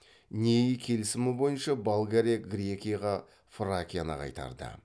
нейи келісімі бойынша болгария грекияға фракияны қайтарды